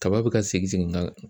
Kaba bɛ ka segin segin ka na